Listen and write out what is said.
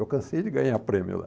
Eu cansei de ganhar prêmio lá.